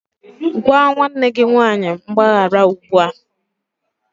Gwa nwanne gị nwanyị mgbaghara ugbu a!